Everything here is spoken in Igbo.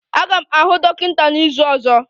Aga m ahụ dọkịta n'izu ọzọ.